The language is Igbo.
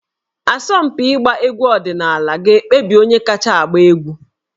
Asọmpi ịgba egwu ọdịnala ga-ekpebi onye kacha agba egwu